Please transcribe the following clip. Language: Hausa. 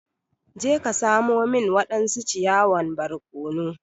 Je ka samo min wadansu ciyawan barkono!